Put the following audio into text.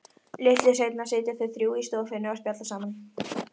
Litlu seinna sitja þau þrjú í stofunni og spjalla saman.